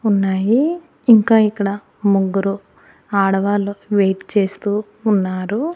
ఉన్నాయి ఇంకా ఇక్కడ ముగ్గురు ఆడవాళ్ళు వెయిట్ చేస్తూ ఉన్నారు.